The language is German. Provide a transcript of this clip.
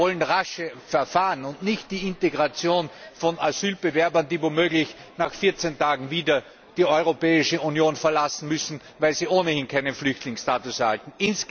Wir wollen rasche Verfahren und nicht die Integration von Asybewerbern, die womöglich nach 14 Tagen wieder die Europäische Union verlassen müssen, weil sie ohnehin keinen Flüchtlingsstatus erhalten.